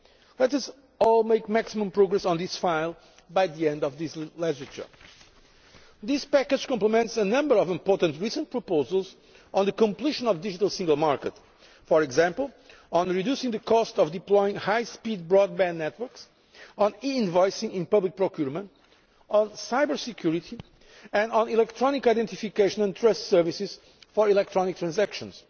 Let us all make maximum progress on this file by the end of this legislature. This package complements a number of important recent proposals on the completion of the Digital Single Market, for example on reducing the cost of deploying high speed broadband networks, on invoicing in public procurement, on cyber security and on electronic identification and trust services for electronic transactions.